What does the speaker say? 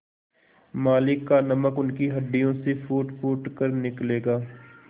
मालिक का नमक उनकी हड्डियों से फूटफूट कर निकलेगा